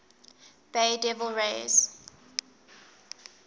bay devil rays